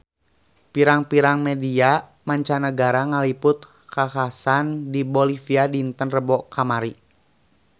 Pirang-pirang media mancanagara ngaliput kakhasan di Bolivia dinten Rebo kamari